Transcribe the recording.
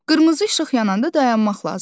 Qırmızı işıq yananda dayanmaq lazımdır.